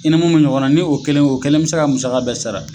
I ni mun be ɲɔgɔn na ni o kelen o kelen be se ka musaka bɛɛ sara